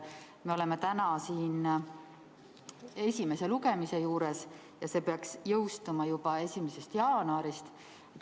Me oleme täna siin esimese lugemise juures ja see peaks jõustuma juba 1. jaanuarist.